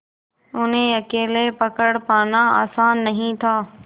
उन्हें अकेले पकड़ पाना आसान नहीं था